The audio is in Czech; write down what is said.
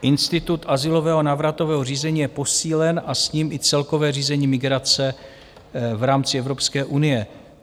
Institut azylového a návratového řízení je posílen a s ním i celkové řízení migrace v rámci Evropské unie.